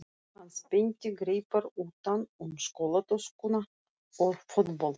Hann spennti greipar utan um skólatöskuna og fótboltann.